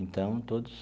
Então, todos...